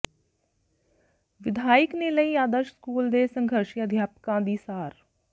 ਵਿਧਾਇਕ ਨੇ ਲਈ ਆਦਰਸ਼ ਸਕੂਲ ਦੇ ਸੰਘਰਸ਼ੀ ਅਧਿਆਪਕਾਂ ਦੀ ਸਾਰ